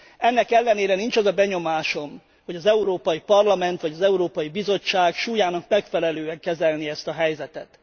Ennek ellenére nincs az a benyomásom, hogy az Európai Parlament vagy az Európai Bizottság súlyának megfelelően kezelné ezt a helyzetet.